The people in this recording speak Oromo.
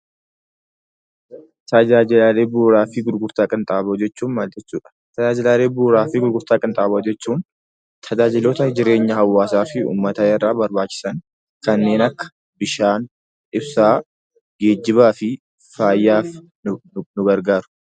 Tajaajila bu'uuraa fi gurgurtaa qinxaaboo jechuun tajaajila jireenya hawaasa fi uummataa irraa barbaachisan kanneen akka bishaan, ibsaan, geejjibaa fi fayyaaf nu gargaaru.